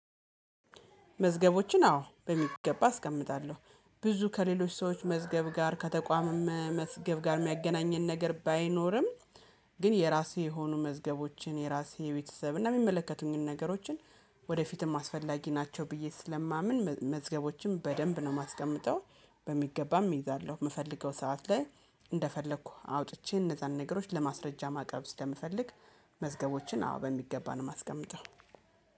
መዝገቦችን አዎ በሚገባ አስቀምጣለሁ ብዙ ከሌሎች ሰዎች መዝገብ ጋር ከተቋምም መዝገብ ጋር የሚያገናኘን ነገር ባይኖርም። ግን የራሴ የሆኑ መዝገቦችን የራሴ የቤተሰብ እና የሚመለከቱኝን ነገሮችን ወደፊትም አስፈላጊ ናቸው ብዬ ስለማምን መመዝገቦችን በደንብ ነው የማስቀምጠው። በሚገባም እይዛለሁ የምፈልገው ሰዓት ላይ እንደፈለኩ አውጥቼ እነዛን ነገሮች ለማስረጃ ማቅረብ ስለምፈልግ መዝገቦችን አዎ በሚገባ ነው የማስቀምጠው